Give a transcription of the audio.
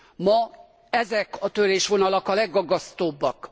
Ma ezek a törésvonalak a legaggasztóbbak.